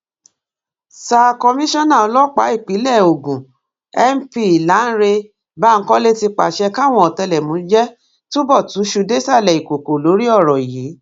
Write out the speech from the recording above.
sa komisanna ọlọpàá ìpínlẹ ogun np lánrẹ bankole ti pàṣẹ káwọn ọtẹlẹmúyẹ túbọ túṣu désàlẹ ìkòkò lórí ọrọ yìí